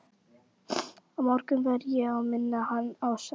Á morgun verð ég að minna hann á það.